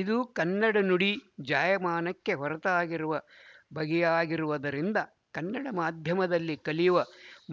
ಇದು ಕನ್ನಡ ನುಡಿ ಜಾಯಮಾನಕ್ಕೆ ಹೊರತಾಗಿರುವ ಬಗೆಯಾಗಿರುವುದರಿಂದ ಕನ್ನಡ ಮಾಧ್ಯಮದಲ್ಲಿ ಕಲಿಯುವ